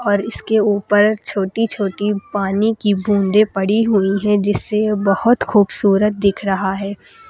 पर इसके ऊपर छोटी छोटी पानी की बूंदे पड़ी हुई हैं जिससे वो बहुत खूबसूरत दिख रहा है।